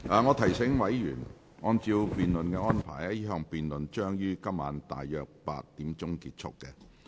我提醒委員，按照辯論安排，這項辯論將於今天晚上約8時結束。